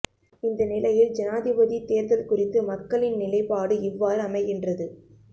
இந்த நிலையில் ஜனாதிபதித் தேர்தல் குறித்து மக்களின் நிலைப்பாடு இவ்வாறு அமைகின்றது